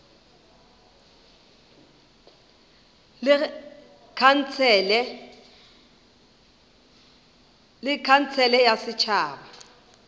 le khansele ya setšhaba ya